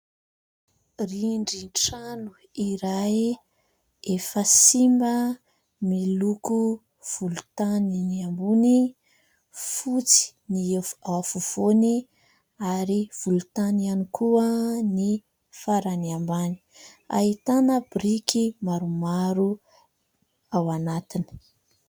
Rindrin-trano iray efa simba, miloko volontany ny ambony, fotsy ny ao afovoany ary volontany ihany koa ny farany ambany. Ahitana biriky maromaro ao anatiny.